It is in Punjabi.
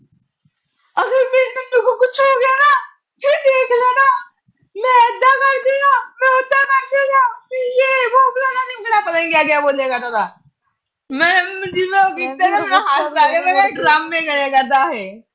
ਮੈਂ ਇਦਾ ਕਰਦੀ ਆ, ਮੈਂ ਉਦਾ ਕਰਦੀ ਆ। ਯੇ ਵੋ ਫਲਾਣਾ ਢਿਮਕਾ, ਪਤਾ ਨੀ ਕਿਆ ਕਿਆ ਬੋਲੇਗਾ ਮੈਂ ਜਿਵੇਂ ਉਹ ਕੀਤਾ ਨਾ ਸਾਰੇ ਡਰਾਮੇ ਕਰਿਆ ਕਰਦਾ ਇਹ।